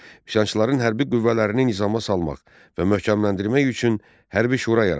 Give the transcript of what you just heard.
Üsyançıların hərbi qüvvələrini nizama salmaq və möhkəmləndirmək üçün hərbi şura yaradıldı.